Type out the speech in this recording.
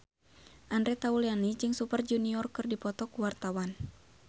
Andre Taulany jeung Super Junior keur dipoto ku wartawan